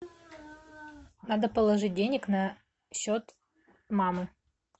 надо положить денег на счет мамы